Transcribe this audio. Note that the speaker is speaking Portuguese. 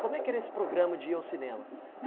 Como é que era esse programa de ir ao cinema?